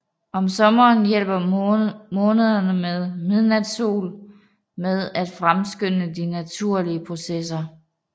Om sommeren hjælper måneder med midnatssol med at fremskynde de naturlige processer